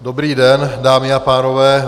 Dobrý den, dámy a pánové.